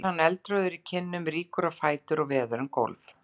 æpir hann eldrjóður í kinnum, rýkur á fætur og veður um gólf.